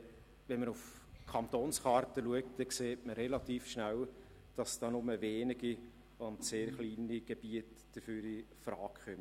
Wenn man auf die Kantonskarte schaut, sieht man relativ schnell, dass dafür nur wenige und sehr kleine Gebiete infrage kämen.